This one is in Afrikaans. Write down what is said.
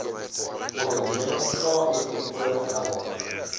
onderneming kmmo help